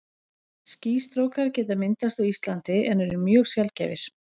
Skýstrókar geta myndast á Íslandi en eru mjög sjaldgæfir.